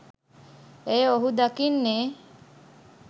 එය ඔහු දකින්නේ